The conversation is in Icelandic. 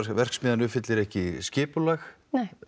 verksmiðjan uppfyllir ekki skipulag nei